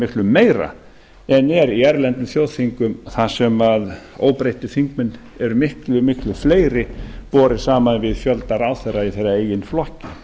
miklu meira en er í erlendum þjóðþingum þar sem óbreyttir þingmenn eru miklu miklu fleiri borið saman við fjölda ráðherra í þeirra eigin flokki